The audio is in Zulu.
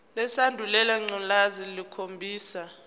lesandulela ngculazi lukhombisa